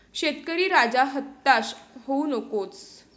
शेतकरी राजा, हताश होऊ नकोस...